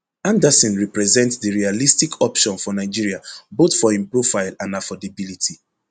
andersson represent di realistic option for nigeria both for im profile and affordability